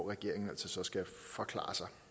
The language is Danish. regeringen altså skal forklare sig